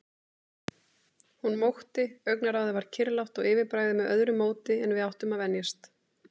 Hún mókti, augnaráðið var kyrrlátt og yfirbragðið með öðru móti en við áttum að venjast.